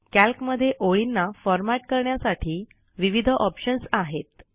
कॅल्कमध्ये ओळींना फॉरमॅट करण्यासाठी विविध ऑप्शन्स आहेत